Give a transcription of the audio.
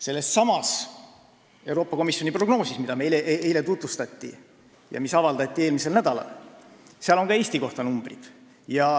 Sellessamas Euroopa Komisjoni prognoosis, mida meile eile tutvustati ja mis avaldati eelmisel nädalal, on numbrid ka Eesti kohta.